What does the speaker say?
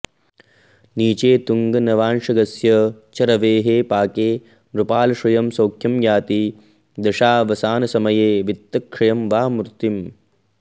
नीचे तुङ्गनवांशगस्य च रवेः पाके नृपालश्रुयं सौख्यं याति दशावसानसमये वित्तक्षयं वा मृतिम्